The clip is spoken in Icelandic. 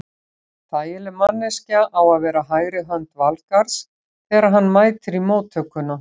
Þægileg manneskja á að vera hægri hönd Valgarðs þegar hann mætir í móttökuna.